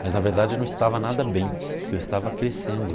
Mas na verdade eu não estava nada bem, porque eu estava crescendo.